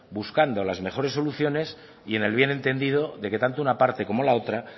buscando las mejores soluciones y en el bien entendido de que tanto una parte como la otra